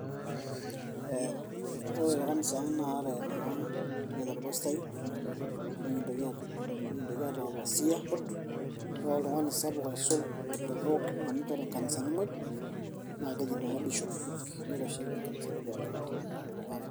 Ore tekanisa ang' na ore naa ekiata orpasai, nikintoki aata opasia, ore oltung'ani sapuk aisul tepookin na ninye oitore nkanisani moj, na keji Bishop. Na ninye oitasheki nkanisani pookin telulung'ata.